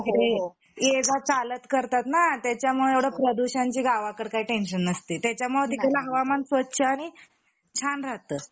इकडे ये जा चालत करतातना त्याचमुळे प्रदूषणची इकडे गावाकडे काही टेन्शन नसते त्याच्यामुळे तिकडचं हवामान स्वच्छ आणि छान राहत